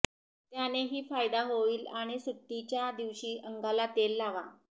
त्यानेही फायदा होईल आणि सुट्टीच्या दिवशी अंगाला तेल लावा